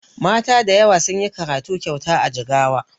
Mata dayawa sunyi karatu kyauta a jigawa